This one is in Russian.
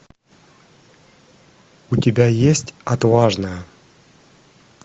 у тебя есть отважная